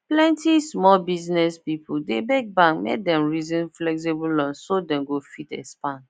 plenty small biz people dey beg bank make dem reason flexible loan so dem go fit expand